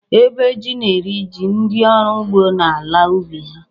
Ébè jí na-eri jí ndị ọrụ ugbo n’ala ubi ha